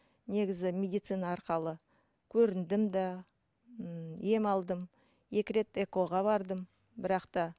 негізі медицина арқылы көріндім де ммм ем алдым екі рет экоға бардым бірақ та